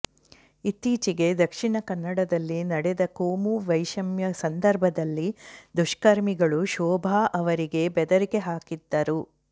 ಇತ್ತೀಚೆಗೆ ದಕ್ಷಿಣ ಕನ್ನಡದಲ್ಲಿ ನಡೆದ ಕೋಮು ವೈಷಮ್ಯ ಸಂದರ್ಭದಲ್ಲಿ ದುಷ್ಕರ್ಮಿಗಳು ಶೋಭಾ ಅವರಿಗೆ ಬೆದರಿಕೆ ಹಾಕಿದ್ದರು